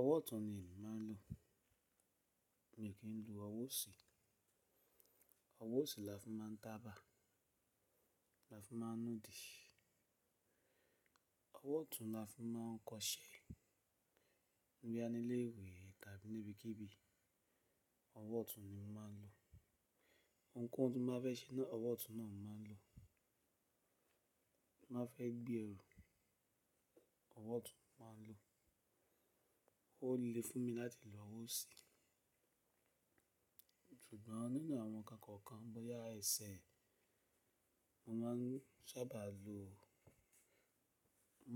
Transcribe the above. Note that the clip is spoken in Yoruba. Ọwọ́ ọ̀tún ni èmi máa ń lò, mi o kì í lò ọwọ́ òsì. Ọwọ́ òsì la fin máà ń taba, la fin máa ń nudì. Ọwọ́ ọ̀tún la fún máa ń kọṣẹ́, boya ní ilé ìwé tàbí níbikíbi, ọwọ́ ọ̀tún ni mo máa ń lò. Ohunkóhun tí mo bá fẹ́ ṣe náà, ọwọ́ ọ̀tún ni mo máa ń lò. Ti n ba fẹ́ gbé ẹrù, ọwọ́ ọ̀tún mo máa ń lò. Ó le fún mi láti lò ọwọ́ òsì, ṣùgbọ́n nínú àwọn ǹkan kọ̀ọ̀kan bóyá ẹsẹ̀, mo máa ń sábà lo,